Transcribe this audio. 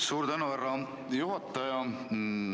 Suur tänu, härra juhataja!